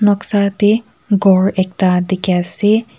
noksa teh ghor ekta dikhi ase.